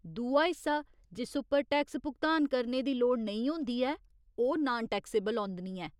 दूआ हिस्सा जिस उप्पर टैक्स भुगतान करने दी लोड़ नेईं होंदी ऐ ओह् नान टैक्सेबल औंदनी ऐ।